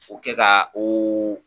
Kɛ ka oo